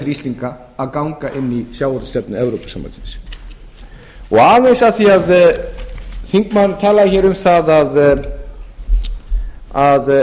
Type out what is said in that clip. íslendinga að ganga inn í sjávarútvegsstefnu evrópusambandsins aðeins af því að þingmaðurinn talaði um það eða lét í það skína að